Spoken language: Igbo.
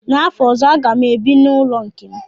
N'afọ ọzọ a ga m ebi n'ụlọ nke m